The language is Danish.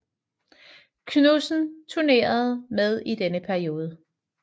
Knudsen turnerede med i denne periode